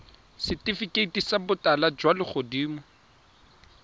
setifikeiti sa botala jwa legodimo